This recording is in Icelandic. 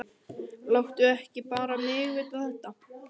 Láttu ekki bara mig vita þetta.